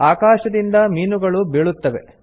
ಆಕಾಶದಿಂದ ಮೀನುಗಳು ಬೀಳುತ್ತವೆ